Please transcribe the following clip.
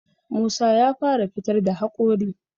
Musa ya fara fitar da haƙori